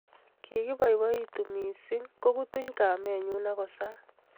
Kikiboiboitu mising kokutuny kamenyu akosaa